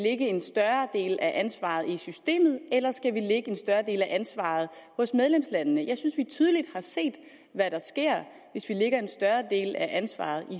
lægge en større del af ansvaret i systemet eller skal vi lægge en større del af ansvaret hos medlemslandene jeg synes vi tydeligt har set hvad der sker hvis vi lægger en større del af ansvaret